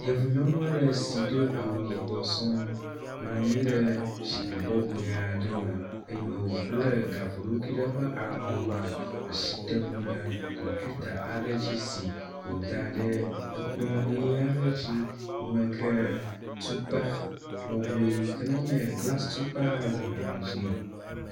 Yevu nyɔnu aɖe si do awu yibɔ sɔŋ nɔ anyi ɖe zikpui bɔbɔe aɖe me eyi me wobble gaƒoɖokui ɖe eƒe alɔnu asi tem ɖe kmpita aɖe dzi si woda ɖe ekplɔ nyui aɖe dzi. Yi me ke tukpa lɔbɔe ke menye glasi tukpa o hã le kplɔ dzi nɛ.